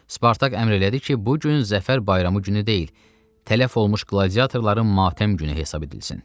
Spartak əmr elədi ki, bu gün zəfər bayramı günü deyil, tələf olmuş qladiatorların matəm günü hesab edilsin.